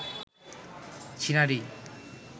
ছিনারি